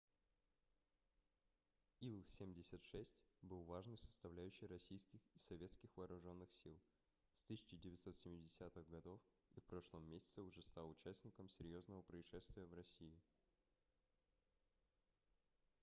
ил-76 был важной составляющей российских и советских вооруженных сил с 1970-х гг и в прошлом месяце уже стал участником серьезного происшествия в россии